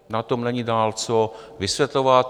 Na tom není dál co vysvětlovat.